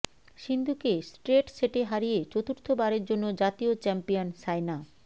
সিন্ধুকে স্ট্রেট সেটে হারিয়ে চতুর্থ বারের জন্য জাতীয় চ্যাম্পিয়ন সাইনা